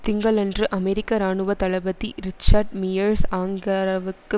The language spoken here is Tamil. திங்களன்று அமெரிக்க இராணுவ தளபதி ரிச்சர்ட் மியர்ஸ் அங்கரவிற்கு